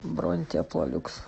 бронь теплолюкс